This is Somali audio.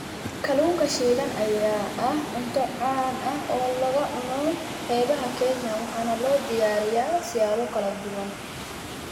Kalluunka shiilan ayaa ah cunto caan ah oo laga cuno xeebaha Kenya, waxaana loo diyaariyaa siyaabo kala duwan.